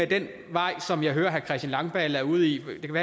i den vej som jeg hører herre christian langballe er ude i at ville gå